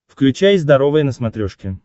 включай здоровое на смотрешке